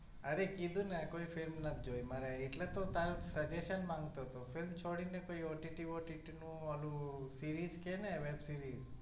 અરે કીધું ને કોઈ film નથી જોઇ મારે એટલે તો તારું suggestion માંગતો તો film છોડી ને કોઈ OTT, OTT નું ઓલું series કે ને web series